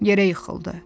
Yerə yıxıldı.